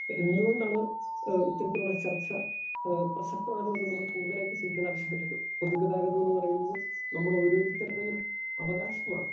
Speaker 2 എന്തുകൊണ്ടാണ് ഏഹ് ആ ഇത്തരത്തിലുള്ള ചർച്ച ഏഹ് പ്രസക്തമായതൊന്നും നമ്മൾ കൂടുതലായിട്ട് ചിന്തിക്കേണ്ട ആവശ്യം വരുള്ളൂ. പൊതുഗതാഗതമെന്ന് പറയുന്നത് നമ്മളോരോരുത്തർടെയും അവകാശമാണ്.